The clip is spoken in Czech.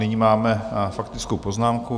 Nyní máme faktickou poznámku.